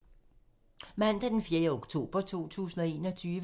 Mandag d. 4. oktober 2021